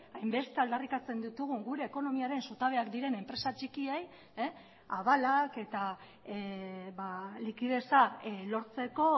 hainbeste aldarrikatzen ditugun gure ekonomiaren zutabeak diren enpresa txikiei abalak eta likideza lortzeko